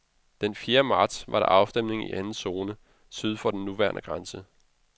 Den fjerde marts var der afstemning i anden zone, syd for den nuværende grænse.